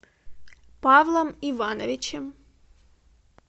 павлом ивановичем